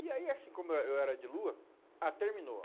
E aí, assim como eu eh eu era de lua, ah, terminou.